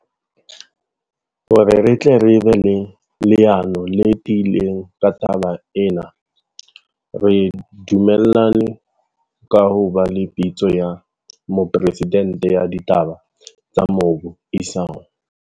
Hore re tle re be le leano le tiileng ka taba ena, re du mellane ka ho ba le Pitso ya mopresidente ya ditaba tsa mobu isao.